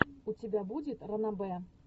у тебя будет ранобэ